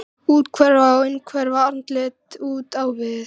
Býður gestunum stimamjúkur að setjast í lúinn svefnsófa fyrir framan.